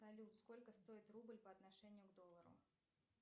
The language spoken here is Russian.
салют сколько стоит рубль по отношению к доллару